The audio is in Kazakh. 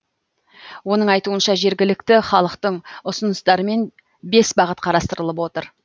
оның айтуынша жергілікті халықтың ұсыныстарымен бес бағыт қарастырылып отыр